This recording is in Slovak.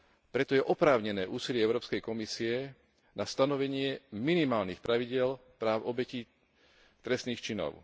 Preto je oprávnené úsilie Európskej komisie na stanovenie minimálnych pravidiel práv obetí trestných činov.